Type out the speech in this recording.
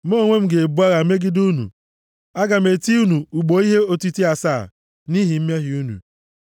mụ onwe m ga-ebu agha megide unu. Aga m eti unu ugbo ihe otiti asaa, nʼihi mmehie unu.